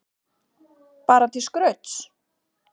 Bara til skrauts?